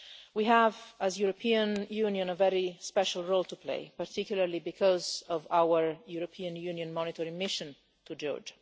We have, as the European Union, a very special role to play, particularly because of our European Union monitoring mission to Georgia.